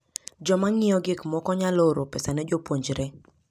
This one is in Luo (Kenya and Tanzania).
Joma ng'iewo gik moko nyalo oro pesa ne jopuonjre.